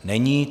Není.